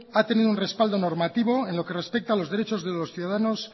ha tenido un respaldo normativo en lo que respecta a los derechos de los ciudadanos